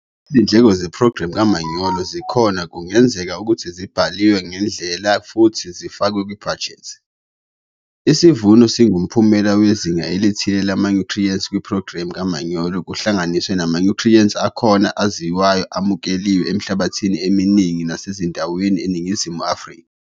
Izindleko zephrogramu kamanyolo yikhona kungazeka ukuthi zibalwe ngendlela futhi zifakwe kubhajethi. Isivuno singumphumela wezinga elithile lamanyuthriyenti kuphrogramu kamanyolo kuhlanganisa namanyuthriyenti akhona aziwayo amukeliwe emihlabathini eminingi nasezindaweni eNingizimu Afrika.